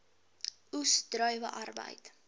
oes druiwe arbeid